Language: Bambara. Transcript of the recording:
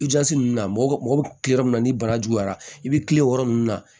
I jasi ninnu na mɔgɔ bɛ tilen yɔrɔ min na ni bana juguyara i bɛ kilen o yɔrɔ nunnu na